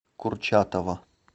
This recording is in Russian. курчатова